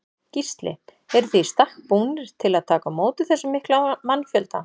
Gísli: Eruð þið í stakk búnir til að taka á móti þessum mikla mannfjölda?